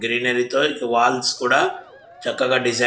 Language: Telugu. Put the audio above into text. గ్రీనరీ తో ఇక్కడ వాల్స్ కూడా చక్కగా డిజైన్ --